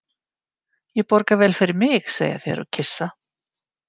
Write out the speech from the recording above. Ég borga vel fyrir mig, segja þeir og kyssa.